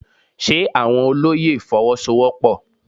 Ṣe àwọn olóyè Fọwọ́sowọ́pọ̀?